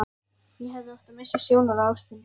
Ég hefði átt að missa sjónar á ástinni.